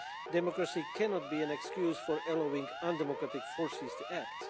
Democracy cannot be an excuse for allowing undemocratic forces to act.